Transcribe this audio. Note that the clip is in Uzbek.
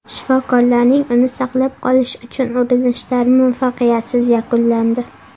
Shifokorlarning uni saqlab qolish uchun urinishlari muvaffaqiyatsiz yakunlandi.